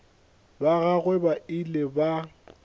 ba gagwe ba ile ba